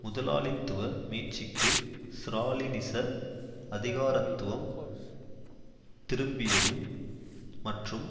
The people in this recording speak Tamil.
முதலாளித்துவ மீட்சிக்கு ஸ்ராலினிச அதிகாரத்துவம் திரும்பியதும் மற்றும்